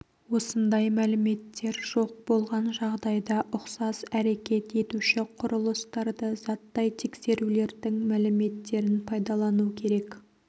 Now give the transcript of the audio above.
осындай мәліметтер жоқ болған жағдайда ұқсас әрекет етуші құрылыстарды заттай тексерулердің мәліметтерін пайдалану керек